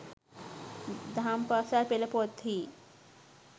දහම්පාසල් පෙළ පොත් හි